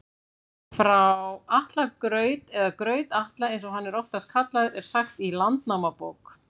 Frá Atla graut, eða Graut-Atla eins og hann er oftast kallaður, er sagt í Landnámabók.